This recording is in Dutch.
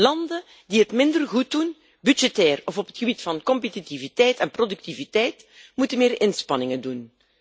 Landen die het minder goed doen, budgettair of op het gebied van competitiviteit en productiviteit, moeten meer inspanningen doen.